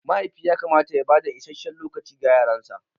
Mahaifi yakamata ya bada isasshen lokaci ga yaransa.